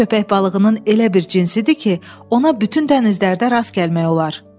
“Bu köpək balığının elə bir cinsidir ki, ona bütün dənizlərdə rast gəlmək olar.”